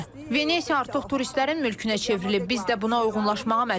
Venesia artıq turistlərin mülkünə çevrilib, biz də buna uyğunlaşmağa məcburuq.